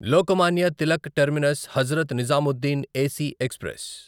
Lokmanya Tilak terminus Hazrat Nizamuddin AC express